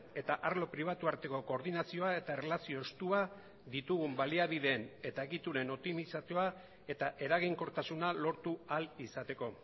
eta arlo pribatua arteko koordinazioa eta erlazio estua ditugun baliabideen eta egituren optimizazioa eta eraginkortasuna lortu ahal izateko